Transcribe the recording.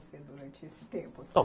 durante esse tempo?